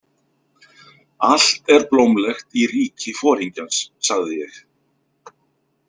Allt er blómlegt í ríki foringjans, sagði ég.